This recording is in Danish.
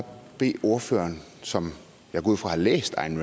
bede ordføreren som jeg går ud fra har læst ayn